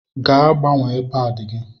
Gaa gbanwee paadi gị!